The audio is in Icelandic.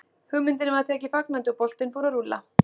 Hugmyndinni var tekið fagnandi og boltinn fór að rúlla.